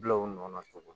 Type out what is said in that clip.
Bila u nɔ na togo